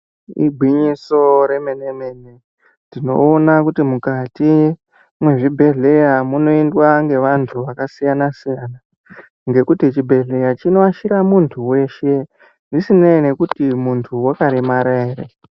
Igwinyiso remene mene, tinoone kuti mukati mezvibhedhleya munoendwa ngevantu vakasiyana siyana ngekuti chibhedhleya chinoashire muntu weshe zvisinei nekuti muntu uyu wakaremara ere.